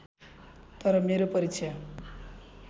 तर मेरो परीक्षा